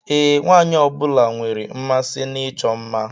Ee, nwaanyị ọbụla nwere mmasị na ịchọ mma.